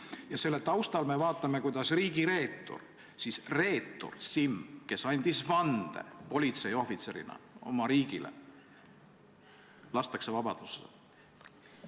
Ja selle taustal me vaatame, kuidas riigireetur Simm, kes andis vande politseiohvitserina oma riigile, lastakse vabadusse.